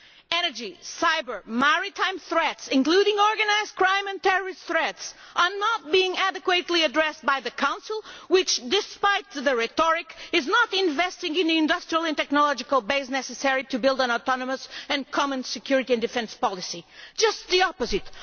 Energy, cyber and maritime threats, including organised crime and terrorism threats, are not being adequately addressed by the Council, which despite the rhetoric is not investing in the industrial and technological base necessary to build an autonomous and common security and defence policy just the opposite.